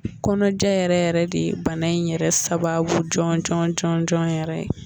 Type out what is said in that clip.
Kɔnɔjɛ yɛrɛ yɛrɛ de bana in yɛrɛ sababu jɔnjɔn jɔnjɔn yɛrɛ